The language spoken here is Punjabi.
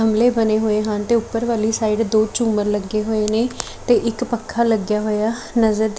ਗਮਲੇ ਬਣੇ ਹੋਏ ਹਨ ਤੇ ਊਪਰ ਵਾਲੀ ਸਾਈਡ ਦੋ ਝੂੰਮਰ ਲੱਗੇ ਹੋਏ ਨੇ ਤੇ ਇੱਕ ਪੱਖਾ ਲੱਗਿਆ ਹੋਏਆ ਨਜ਼ਰ ਦਿ--